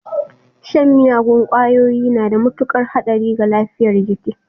Shan miyagun kwayoyi na da mutukar hadari ga lafiyar jiki.